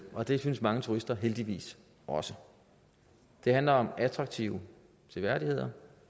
og det synes mange turister heldigvis også det handler om attraktive seværdigheder